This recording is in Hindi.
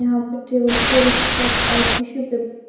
यहा पे टेबल पे एक कप और टिश्यू पेपर --